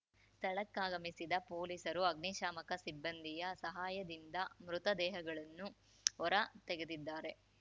ಸ್ಥಳಕ್ಕಾಗಮಿಸಿದ ಪೊಲೀಸರು ಅಗ್ನಿಶಾಮಕ ಸಿಬ್ಬಂದಿಯ ಸಹಾಯದಿಂದ ಮೃತ ದೇಹಗಳನ್ನು ಹೊರ ತೆಗೆದಿದ್ದಾರೆ